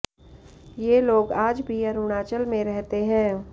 ये लोग आज भी अरुणाचल में रहते हैं